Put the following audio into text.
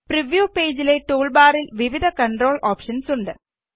preview പേജിലെ tool ബാറില് വിവിധ കണ്ട്രോൾ ഓപ്ഷന്സ് ഉണ്ട്